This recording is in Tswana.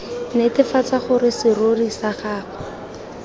netefatsa gore serori sa gagwe